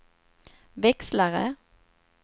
växlare